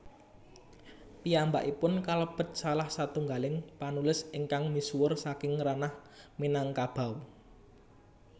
Piyambakipun kalebet salah satunggaling panulis ingkang misuwur saking ranah Minangkabau